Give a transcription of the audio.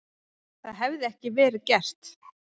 Það hefði ekki verið gert